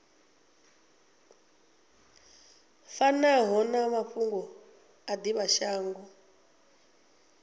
fanaho na mafhungo a divhashango